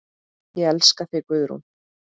Ég elska þig, Guðrún.